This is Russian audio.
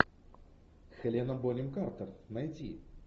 хелена бонем картер найти